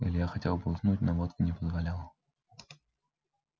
илья хотел бы уснуть но водка не позволяла